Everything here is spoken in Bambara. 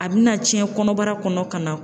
A bɛna tiɲɛ kɔnɔbara kɔnɔ ka na.